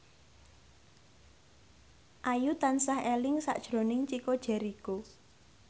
Ayu tansah eling sakjroning Chico Jericho